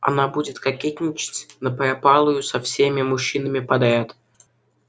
она будет кокетничать напропалую со всеми мужчинами подряд